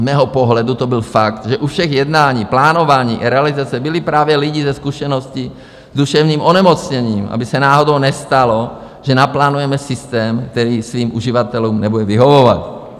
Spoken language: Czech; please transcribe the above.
Z mého pohledu to byl fakt, že u všech jednání, plánování i realizace byli právě lidi se zkušeností s duševním onemocněním, aby se náhodou nestalo, že naplánujeme systém, který svým uživatelům nebude vyhovovat.